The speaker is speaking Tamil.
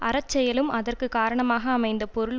அற செயலும் அதற்க்கு காரணமாக அமைந்த பொருள்